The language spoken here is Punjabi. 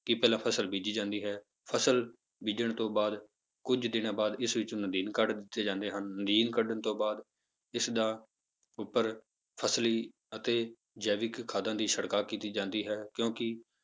ਕਿ ਪਹਿਲਾਂ ਫਸਲ ਬੀਜੀ ਜਾਂਦੀ ਹੈ, ਫਸਲ ਬੀਜਣ ਤੋਂ ਬਾਅਦ ਕੁੱਝ ਦਿਨਾਂ ਬਾਅਦ ਇਸ ਵਿੱਚੋਂ ਨਦੀਨ ਕੱਢ ਦਿੱਤੇ ਜਾਂਦੇ ਹਨ, ਨਦੀਨ ਕੱਢਣ ਤੋਂ ਬਾਅਦ ਇਸਦਾ ਉੱਪਰ ਫਸਲੀ ਅਤੇ ਜੈਵਿਕ ਖਾਦਾਂ ਦੀ ਛਿੜਕਾਅ ਕੀਤੀ ਜਾਂਦੀ ਹੈ ਕਿਉਂਕਿ